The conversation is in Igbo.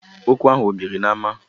Okwu ahụ o biri n’ama?